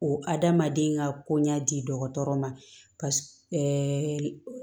O adamaden ka ko ɲɛ di dɔgɔtɔrɔ ma